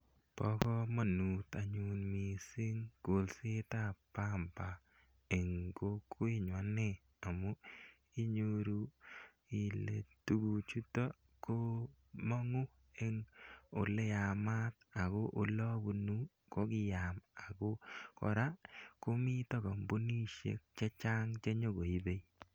Pa kamanut anyun missing' kolset ap pamba eng' kokwet nyu ane amu inyoru ile tuguchutok ko mang'u en ole yamat ako ole apunu ko kiyam. Ako kora komita kampunishek che chang' che nyu koipe.